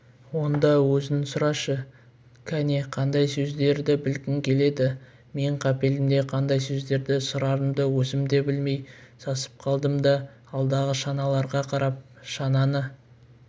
онда өзің сұрашы кәне қандай сөздерді білгің келеді мен қапелімде қандай сөздерді сұрарымды өзім де білмей сасып қалдым да алдағы шаналарға қарап шананы